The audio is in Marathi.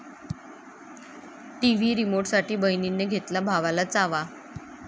टीव्ही रिमोटसाठी बहिणीने घेतला भावाला चावा